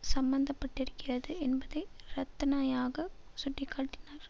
சம்பந்த பட்டிருக்கிறது என்பதை ரத்னயாக சுட்டி காட்டினார்